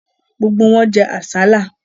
Gbogbo wọn jẹ àsálà.